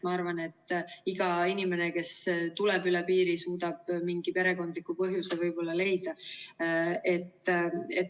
Ma arvan, et iga inimene, kes tuleb üle piiri, suudab mingi perekondliku põhjuse võib-olla leida.